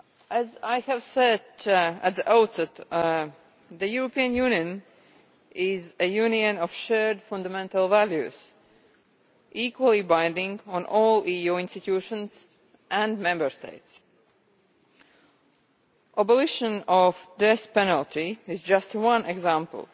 As I said at the outset, the European Union is a union of shared fundamental values, equally binding on all EU institutions and Member States. The abolition of the death penalty is just one example.